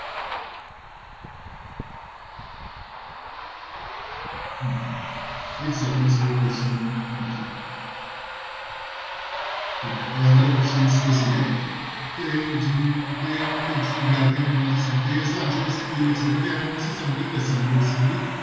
ਇੱਕ second ਅਸੀਂ ਉਹ question ਹਾਂਜੀ ਠੀਕ ਹੈ ਤੇ ਆਹ ਵਾਲੇ questions ਤੇ ਸੀਗੇ ਤੇ ਜਿ~ ਤੇ ਹੁਣ ਕੁਛ ਵਿਦਿਆਰਥੀ ਤੇ ਇਸਦਾ answer ਅਸੀਂ ਇਹ ਲਿਖ ਸਕਦੇ ਹਾਂ ਹੁਣ ਅਸੀਂ summary ਦੱਸਾਂਗੇ basically